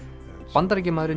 Bandaríkjamaðurinn